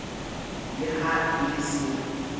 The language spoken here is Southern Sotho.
le ha e le se